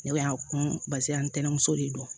Ne y'a kun basi y'an tɛnmuso de don